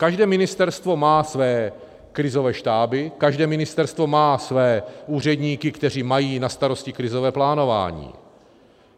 Každé ministerstvo má své krizové štáby, každé ministerstvo má své úředníky, kteří mají na starosti krizové plánování.